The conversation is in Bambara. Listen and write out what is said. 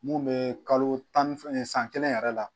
Mun be kalo tan ni san kelen yɛrɛ la